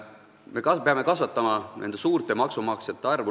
Me peame kasvatama suurte maksumaksjate arvu.